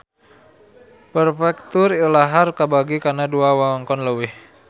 Perfektur ilahar kabagi kana dua wewengkon leuwih